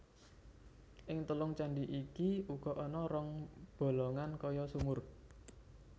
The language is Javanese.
Ing telung candhi iki uga ana rong bolongan kaya sumur